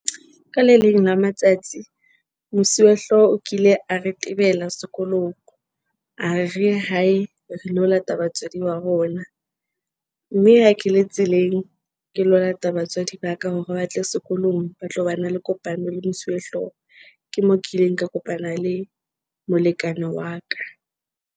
Ka le leng la matsatsi Mosuwehlooho o kile a re tebela sekolong, a re re ye hae re lo lata batswadi ba rona. Mme a ke le tseleng, ke lo lata batswadi ba ka hore batle sekolong ba tlo ba na le kopano le mosuwehlooho. Ke mo kileng ka kopana le molekane wa ka .